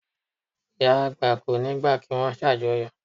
Ìyá àgbà kò ní gbà kí wón ṣàjọyọ̀